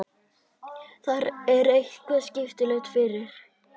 Þar er eitthvað skipulag fyrir.